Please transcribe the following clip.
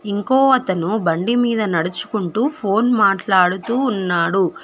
ఇంకో అతను బండి మీద నడుచుకుంటూ ఫోన్ మాట్లాడుతూ ఉన్నాడు.